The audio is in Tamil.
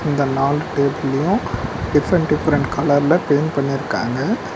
இந்த நாலு டேபிளியு டிஃப்ரென்ட் டிஃப்ரென்ட் கலர்ல பெயிண்ட் பண்ணிர்க்காங்க.